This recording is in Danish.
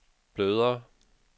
blødere